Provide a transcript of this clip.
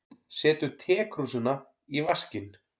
Setur tekrúsina í vaskinn.